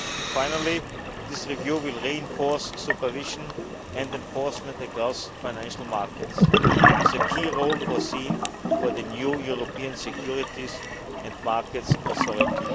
Finally, this review will reinforce supervision and enforcement across financial markets with a key role foreseen for the new European Securities and Markets Authority.